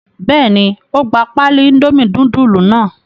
Bẹ́ẹ̀ ni, ó gba páálí Indomie núdúlù kan.